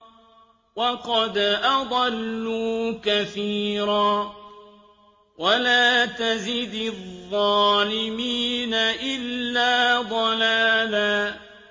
وَقَدْ أَضَلُّوا كَثِيرًا ۖ وَلَا تَزِدِ الظَّالِمِينَ إِلَّا ضَلَالًا